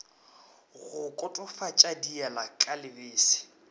go kotofatša diela ka lebese